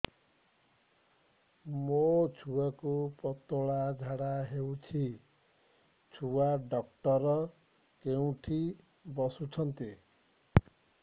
ମୋ ଛୁଆକୁ ପତଳା ଝାଡ଼ା ହେଉଛି ଛୁଆ ଡକ୍ଟର କେଉଁଠି ବସୁଛନ୍ତି